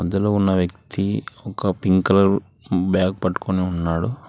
ఇందులో ఉన్న వ్యక్తి ఒక పింక్ కలర్ బ్యాగ్ పట్టుకొని ఉన్నాడు.